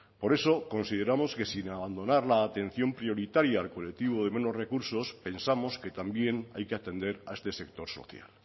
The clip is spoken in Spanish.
por eso consideramos que sin abandonar la atención prioritaria al colectivo de menos recursos pensamos que también hay que atender a este sector social